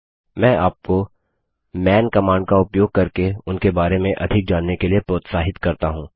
मैं आपको man command का उपयोग करके उनके बारे में अधिक जानने के लिए प्रोत्साहित करता हूँ